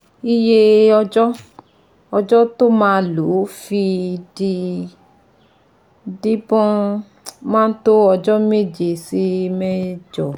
Iye ọjọ́ ọjọ́ tó maa lò fi di díbọ́n máa tó ọjọ́ méje sí mẹ́jọ